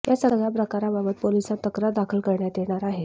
या सगळ्या प्रकाराबाबत पोलिसांत तक्रार दाखल करण्यात येणार आहे